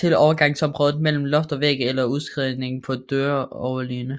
til overgangsområdet mellem loft og væg eller udskæringer på døroverliggere